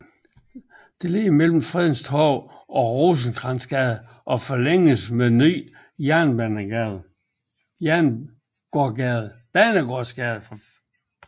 Ligger mellem Fredens Torv og Rosenkrantzgade og forlænges med Ny Banegårdsgade